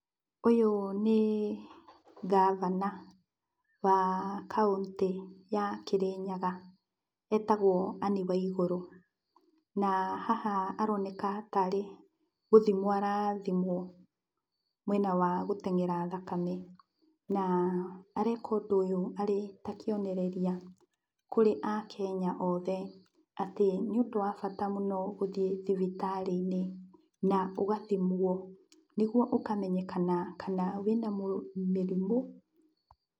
Ũyũ nĩ ngabana wa kauntĩ ya Kĩrĩnyaga, etagwo Anne Waigũrũ. Na, haha aroneka tarĩ gũthimwo arathimwo mwena wa gũtengera thakame. Na, areka ũndũ ũyũ arĩ ta kĩonereria kũrĩ kenya othe atĩ nĩ ũndũ wa bata mũno gũthiĩ thibitarĩ-inĩ na ũgathimwo, nĩguo ũkamenyekana kana wĩna mĩrimũ.